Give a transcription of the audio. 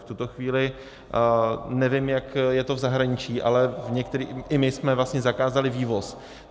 V tuto chvíli nevím, jak je to v zahraničí, ale i my jsme vlastně zakázali vývoz.